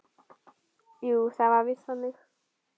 Jú, það var víst þannig.